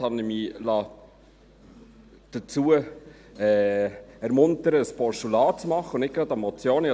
Da liess ich mich dazu ermuntern, ein Postulat zu machen und nicht gleich eine Motion.